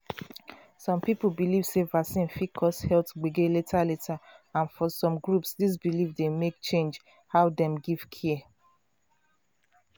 some people believe sey vaccine fit cause health gbege later later and for some groups this belief dey make change how dem give care.